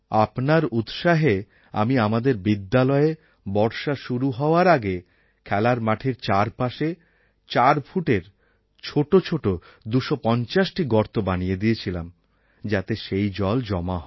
আপনার উৎসাহে আমি আমাদের বিদ্যালয়ে বর্ষা শুরু হওয়ার আগে খেলার মাঠের চার পাশে চার ফুটের ছোটো ছোটো ২৫০টি গর্ত বানিয়ে দিয়েছিলাম যাতে সেই জল জমা হয়